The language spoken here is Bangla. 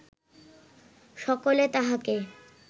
সকলে তাহাকে